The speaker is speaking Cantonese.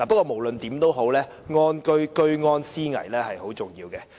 無論如何，居安思危是很重要的。